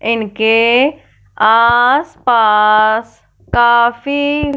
इनके आसपास काफ़ी--